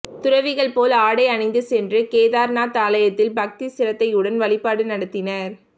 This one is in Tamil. துறவிகள் போல் ஆடையணிந்து சென்று கேதார்நாத் ஆலயத்தில் பக்தி சிரத்தையுடன் வழிபாடு நடத்தினார்